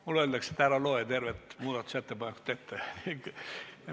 Mulle öeldakse, et ärgu ma lugegu tervet muudatusettepanekut ette.